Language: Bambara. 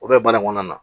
O bɛ baara in kɔnɔna na